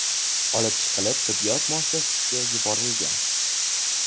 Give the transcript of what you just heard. olib chiqilib, tibbiyot muassasasiga yuborilgan.